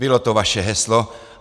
Bylo to vaše heslo.